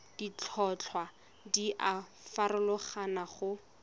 ditlhotlhwa di a farologana go